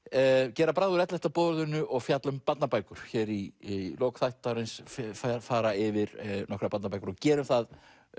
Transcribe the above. gera bragð úr ellefta boðorðinu og fjalla um barnabækur hér í lok þáttarins fara yfir nokkrar barnabækur og gerum það